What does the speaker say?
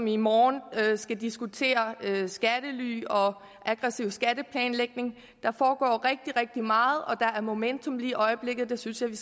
i morgen og skal diskutere skattely og aggressiv skatteplanlægning der foregår rigtig rigtig meget og der er momentum lige i øjeblikket det synes jeg vi